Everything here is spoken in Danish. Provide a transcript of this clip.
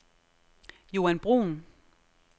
Joan Bruhn